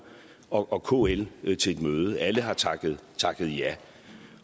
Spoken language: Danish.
og kl til et møde hvor alle har takket takket ja